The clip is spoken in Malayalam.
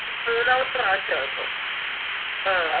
മൂന്നാമത്തെ പ്രാവശ്യവ ഇപ്പോം അഹ്